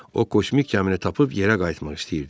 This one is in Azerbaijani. O, kosmik gəmini tapıb yerə qayıtmaq istəyirdi.